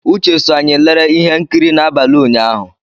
Uche so anyị lere ihe nkiri n'abalị ụnyahụ.